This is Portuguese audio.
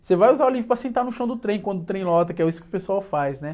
Você vai usar o livro para sentar no chão do trem, quando o trem lota, que é isso que o pessoal faz, né?